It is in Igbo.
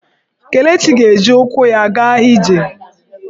Kelechi ga-eji ụkwụ ya aga ije.